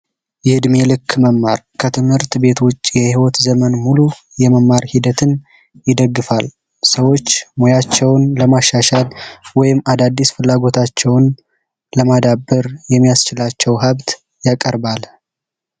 የእድሜ ልክ መማር ከትምህርት ቤት ውጭ የህይወት ዘመን በሙሉ የመማር ሂደትን ይደግፋል፤ ሰዎች ሙያቸውን ለማሻሻል ወይም አዳዲስ ፍላጎታቸውን ለማዳበር የሚያስችላቸው ሀብት ያቀርባል።